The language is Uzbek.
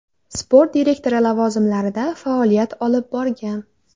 Sport direktori lavozimlarida faoliyat olib borgan.